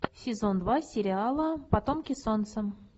сезон два сериала потомки солнца